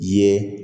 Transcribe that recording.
Ye